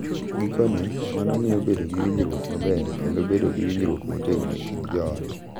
Gikone, mano miyo bedo gi winjruok maber kendo bedo gi winjruok motegno e kind joot.